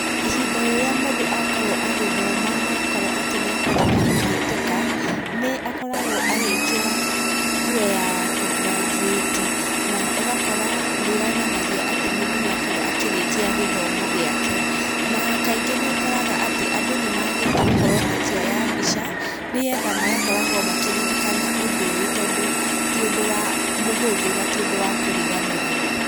Ihida rĩrĩa mũndũ akorwo agĩthoma, na akorwo atĩ nĩakorwo wa kũhĩtũka, nĩakoragwo agĩkĩra nguo ya kũ graduate na ũgakora nĩyonanagia atĩ mũndũ nĩakorwo akĩrĩkia gĩthomo gĩake, na kaingĩ nĩũkoraga atĩ andũ nĩmagĩrĩirwo gũkorwo makioya mbica, nĩgetha magakoragwo makĩririkana ũndũ ũyũ tondũ ti ũndũ mũhũthu na ti ũndũ wa kũriganĩra.